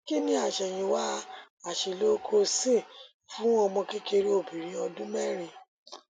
kí ni àṣẹyìnwá àṣìlò crocin fún ọmọkékeré obìnrin ọdún mẹrin